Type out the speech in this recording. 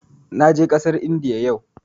Na je ƙasar Indiya yau